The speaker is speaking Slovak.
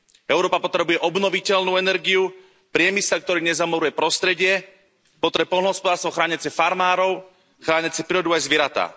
Európa potrebuje obnoviteľnú energiu, priemysel, ktorý nezamoruje prostredie, potrebuje poľnohospodárstvo chrániace farmárov, chrániace prírodu aj zvieratá.